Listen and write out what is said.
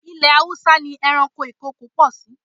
Ilẹ̀ Haúsá ni ẹranko ìkokò pọ̀ sí.